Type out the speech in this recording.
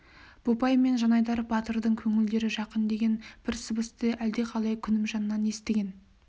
бопай мен жанайдар батырдың көңілдері жақын деген бір сыбысты әлдеқалай күнімжаннан естіген